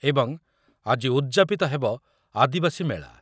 ଏବଂ ଆଜି ଉଦ୍‌ଯାପିତ ହେବ ଆଦିବାସୀ ମେଳା।